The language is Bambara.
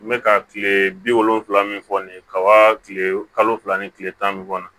N bɛ ka kile bi wolonwula min fɔ nin ye kaba kile kalo fila ni kile tan ni kɔnɔ